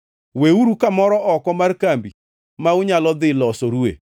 Weuru kamoro oko mar kambi ma unyalo dhi losorue,